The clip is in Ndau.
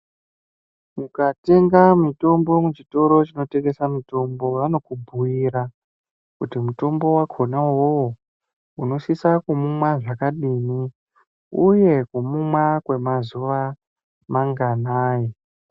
Mukatenga mitombo muchitoro munotengeserwa mitombo vanokubhiira kuti unosisa kuimwa zvakadii uye kuunwa kwemazuwa manganai.